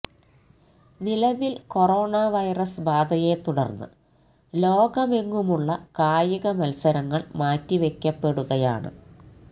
നിലവില് corona virus ബാധയെ തുടര്ന്ന് ലോകമെങ്ങുമുള്ള കായിക മത്സരങ്ങള് മാറ്റിവെയ്ക്കപ്പെടുകയാണ്